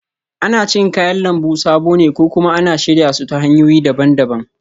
Ana cin kayan lambu sabo ne ko kuma ana shirya su ta hanyoyi daban-daban